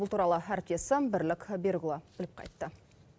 бұл туралы әріптесім бірлік берікұлы біліп қайтты